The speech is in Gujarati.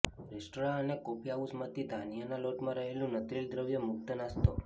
રેસ્ટોરાં અને કોફી હાઉસમાંથી ધાન્યના લોટમાં રહેલું નત્રિલ દ્રવ્ય મુક્ત નાસ્તો